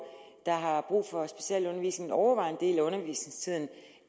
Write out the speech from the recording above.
der har brug for specialundervisning overvejende del af undervisningstiden